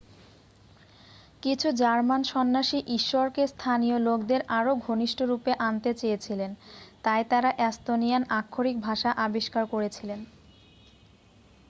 কিছু জার্মান সন্ন্যাসী ঈশ্বরকে স্থানীয় লোকদের আরও ঘনিষ্ঠরূপে আনতে চেয়েছিলেন তাই তারা এস্তোনিয়ান আক্ষরিক ভাষা আবিষ্কার করেছিলেন